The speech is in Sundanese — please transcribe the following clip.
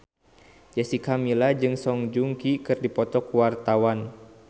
Jessica Milla jeung Song Joong Ki keur dipoto ku wartawan